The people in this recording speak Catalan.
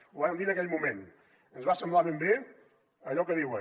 ho vàrem dir en aquell moment ens va semblar ben bé allò que diuen